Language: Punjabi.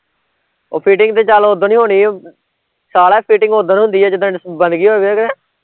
ਉਹ fitting ਤੇ ਚੱਲ ਓਦਣ ਈ ਹੋਣੀ ਓ ਸਾਲਿਆਂfitting ਓਦਣ ਹੁੰਦੀ ਐ ਜਿਦਣ ਬਣਗੀ ਹੋਵੇ ਕਿ